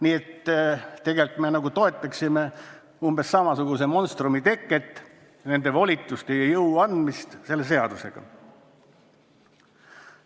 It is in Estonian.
Nii et tegelikult me toetaksime umbes samasuguse monstrumi teket, kui annaksime Terviseametile seadusega sellised volitused ja jõu.